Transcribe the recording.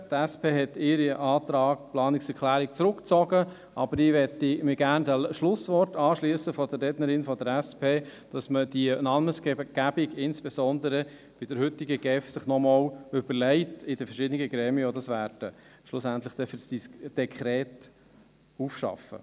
Die SP hat ihre Planungserklärung zurückgezogen, aber ich möchte mich gerne den Schlussworten der Rednerin der SP anschliessen, dass man sich die Namensgebung insbesondere der heutigen GEF in den verschiedenen Gremien, die dies schlussendlich für das Dekret aufarbeiten werden, noch einmal überlegt.